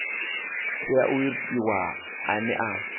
tea u itiwa ane a